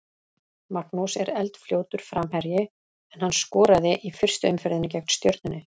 Magnús er eldfljótur framherji en hann skoraði í fyrstu umferðinni gegn Stjörnunni.